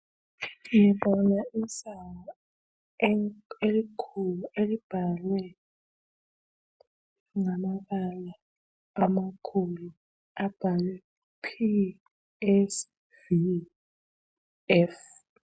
Ngibona isango elikhulu elibhalwe ngamabala amakhulu abhalwe P S V F.